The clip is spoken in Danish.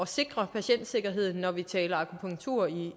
sikre patientsikkerheden når vi taler akupunktur i